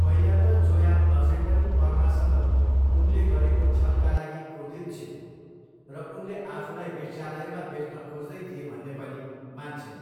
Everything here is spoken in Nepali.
पहिला त जोया अझै पनि पर्मासँग उनले गरेको छलका लागि क्रोधित छिन् र उनले आफूलाई वेश्यालयमा बेच्न खोज्दै थिए भन्ने पनि मान्छिन्।